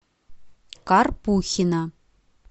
карпухина